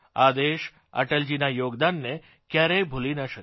આ દેશ અટલજીના યોગદાનને ક્યારેય ભૂલી ન શકે